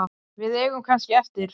Við eigum kannski eftir.